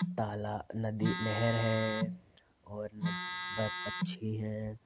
ताला नदी नहर है और न-वे-पंछी है।